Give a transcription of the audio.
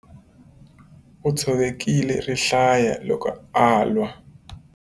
U tshovekile rihlaya loko a lwa.